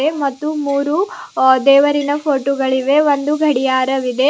ಮತ್ತು ಮೂರು ಅ ದೇವರಿನ ಫೋಟೋ ಗಳಿವೆ ಒಂದು ಗಡಿಯಾರವಿದೆ .